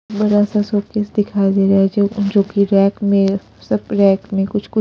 बड़ा सा सोकेज दिखाई दे रहा है जो जो कि रैक में सब रैक में कुछ कुछ --